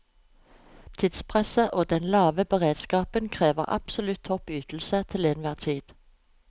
Tidspresset og den lave beredskapen krever absolutt topp ytelse til enhver tid.